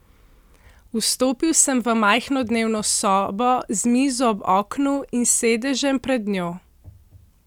Vstopil sem v majhno dnevno sobo z mizo ob oknu in sedežem pred njo.